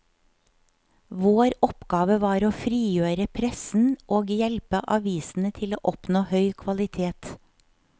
Vår oppgave var å frigjøre pressen og hjelpe avisene til å oppnå høy kvalitet.